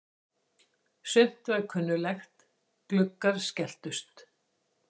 Sumt var kunnuglegt: Gluggar skelltust.